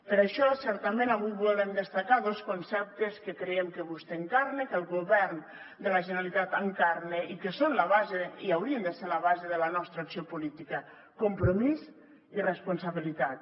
per això certament avui volem destacar dos conceptes que creiem que vostè encarna i que el govern de la generalitat encarna i que haurien de ser la base de la nostra acció política compromís i responsabilitat